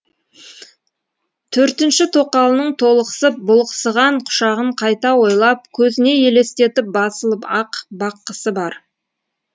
төртінші тоқалының толықсып бұлықсыған құшағын қайта ойлап көзіне елестетіп басылып ақ баққысы бар